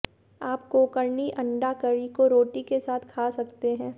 आप कोंकणी अंडा करी को रोटी के साथ खा सकते हैं